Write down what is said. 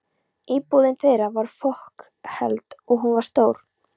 Íbúðin þeirra var fokheld, og hún var stór.